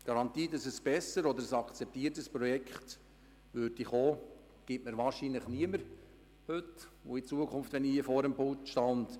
Eine Garantie für ein besseres oder breiter akzeptiertes Projekt gibt mir heute und in Zukunft wahrscheinlich niemand.